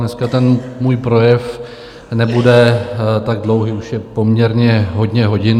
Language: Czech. Dneska ten můj projev nebude tak dlouhý, už je poměrně hodně hodin.